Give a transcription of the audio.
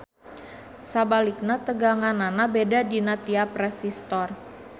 Sabalikna teganganana beda dina tiap resistor.